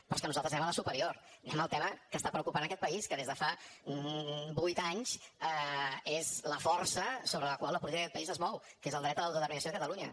però és que nosaltres anem a la superior anem al tema que està preocupant aquest país que des de fa vuit anys és la força sobre la qual la política d’aquest país es mou que és del dret a l’autodeterminació de catalunya